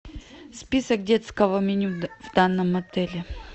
список детского меню в данном отеле